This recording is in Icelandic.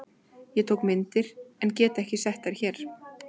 Ég tók myndir en get ekki sett þær hér.